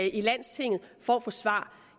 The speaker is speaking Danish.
i landstinget for at få svar